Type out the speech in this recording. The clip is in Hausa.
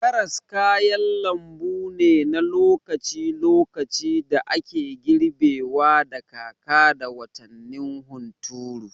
Karas kayan lambu ne na lokaci-lokaci da ake girbewa da kaka da watannin hunturu.